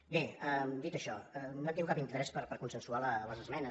bé dit això no han tingut cap interès per consensuar les esmenes